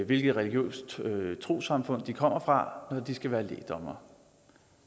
hvilket religiøst trossamfund de kommer fra når de skal være lægdommere